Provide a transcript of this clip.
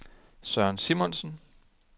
Søren Simonsen